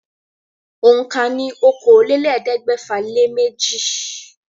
Òǹkà ní okòólélẹ́ẹ̀ẹ́dẹ́gbẹ́fà-lé-méjì.